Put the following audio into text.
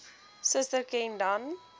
suster ken dan